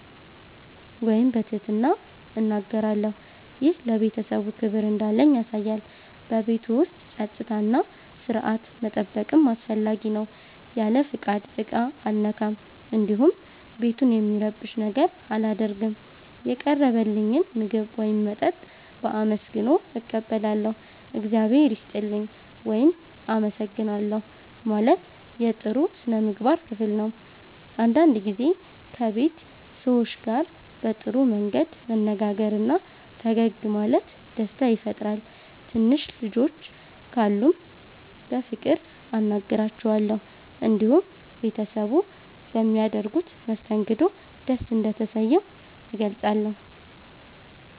ወይም በትህትና እናገራለሁ። ይህ ለቤተሰቡ ክብር እንዳለኝ ያሳያል። በቤቱ ውስጥ ጸጥታና ሥርዓት መጠበቅም አስፈላጊ ነው። ያለ ፍቃድ ዕቃ አልነካም፣ እንዲሁም ቤቱን የሚረብሽ ነገር አላደርግም። የቀረበልኝን ምግብ ወይም መጠጥ በአመስግኖ እቀበላለሁ። “እግዚአብሔር ይስጥልኝ” ወይም “አመሰግናለሁ” ማለት የጥሩ ሥነ ምግባር ክፍል ነው። አንዳንድ ጊዜ ከቤት ሰዎች ጋር በጥሩ መንገድ መነጋገርና ፈገግ ማለት ደስታ ይፈጥራል። ትንሽ ልጆች ካሉም በፍቅር አናግራቸዋለሁ። እንዲሁም ቤተሰቡ በሚያደርጉት መስተንግዶ ደስ እንደተሰኘሁ እገልጻለሁ።